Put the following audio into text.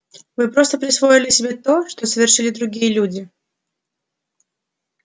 вы просто присвоили себе то что совершили другие люди